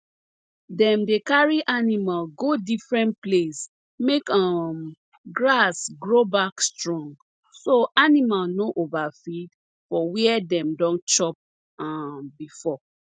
dem dey carry animal go different place make um grass grow back strong so animal no overfeed for where dem don chop um before